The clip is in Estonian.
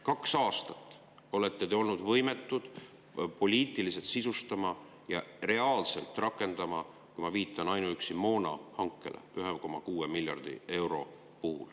Kaks aastat olete te olnud võimetud poliitiliselt sisustama ja reaalselt rakendama – ma viitan ainuüksi moonahankele – 1,6 miljardit eurot.